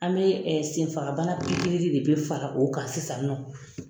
An me senfabana pikiri de bi fara o kan sisan nin nɔ